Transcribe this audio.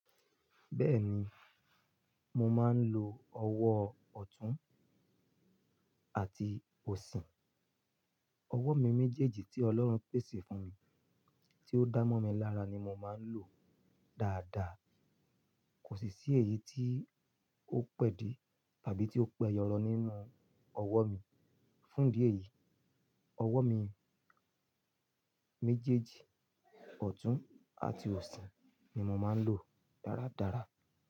Bẹ́ẹ̀ni, mo máa ń lo ọwọ́ ọ̀tún àti òsì. Ọwọ́ mi méjèèjì tí Ọlọ́run pèsè fún mi, tí ó dánmọ́ mi lára ni mo máa ń lò dáadáa. Kò sì ṣí èyí tí ó pẹ́ di tàbí tí ó pẹ́ yọrọ nínú ọwọ́ mi. Fún idi èyí, ọwọ́ mi méjèèjì, ọ̀tún àti òsì ni mo máa ń lò dáradára.